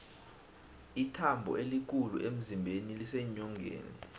ithambo elikhulu emzimbeni liseenyongeni